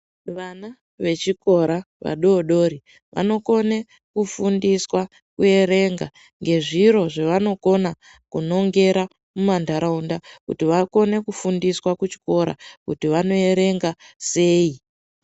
Vana vechikora vadodori vanokone kufundiswa kuerenga ngezviro zvavanokona kunongera mumandaraunda kuti vakone kufundiswa kuchikora kuti vanoerenga sei.